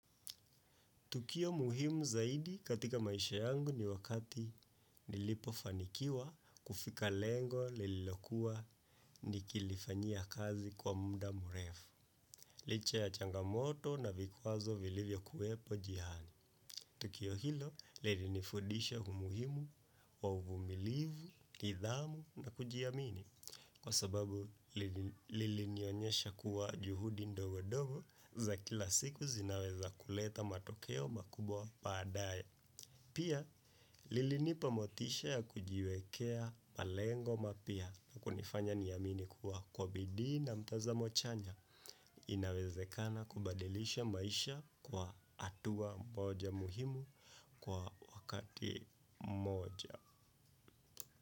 Tukio muhimu zaidi katika maisha yangu ni wakati nilipofanikiwa kufika lengo nililokuwa nikilifanyia kazi kwa muda mrefu. Licha ya changamoto na vikwazo vilivyo kuwepo njiani. Tukio hilo, lilinifundisha umuhimu wa uvumilivu, nidhamu na kujiamini. Kwa sababu, lilinionyesha kuwa juhudi ndogo ndogo za kila siku zinaweza kuleta matokeo makubwa baadaye. Pia, lilinipa motisha ya kujiwekea malengo mapya na kunifanya niamini kuwa kwa bidii na mtazamo chanya. Inawezekana kubadilisha maisha kwa hatua moja muhimu kwa wakati mmoja.